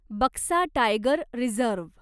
Buxa tiger reserve